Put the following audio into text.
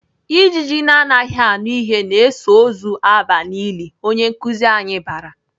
Ijiji na-anaghị anụ ihe na-eso ozu aba n'ili!"Onye nkuzi anyị bara.